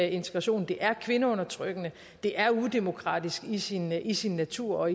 integrationen det er kvindeundertrykkende det er udemokratisk i sin i sin natur og